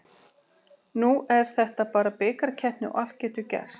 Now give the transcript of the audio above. Nú er þetta bara bikarkeppni og allt getur gerst.